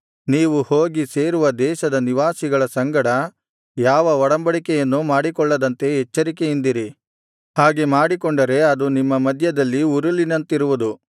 ನೀವು ಹೋಗಿ ಸೇರುವ ದೇಶದ ನಿವಾಸಿಗಳ ಸಂಗಡ ಯಾವ ಒಡಂಬಡಿಕೆಯನ್ನೂ ಮಾಡಿಕೊಳ್ಳದಂತೆ ಎಚ್ಚರಿಕೆಯಿಂದಿರಿ ಹಾಗೆ ಮಾಡಿಕೊಂಡರೆ ಅದು ನಿಮ್ಮ ಮಧ್ಯದಲ್ಲಿ ಉರುಲಿನಂತಿರುವುದು